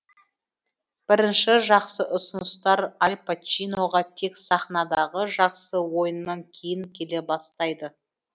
бірінші жақсы ұсыныстар аль пачиноға тек сахнадағы жақсы ойынынан кейін келе бастайды